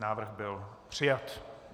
Návrh byl přijat.